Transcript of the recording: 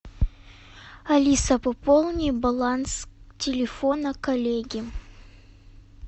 алиса пополни баланс телефона коллеги